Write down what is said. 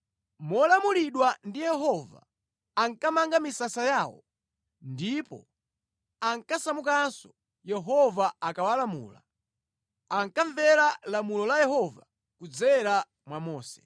Molamulidwa ndi Yehova ankamanga misasa yawo ndipo ankasamukanso Yehova akawalamula. Ankamvera lamulo la Yehova kudzera mwa Mose.